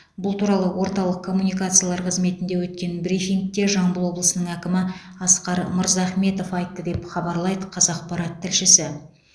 бұл туралы орталық коммуникациялар қызметінде өткен брифингте жамбыл облысының әкімі асқар мырзахметов айтты деп хабарлайды қазақпарат тілшісі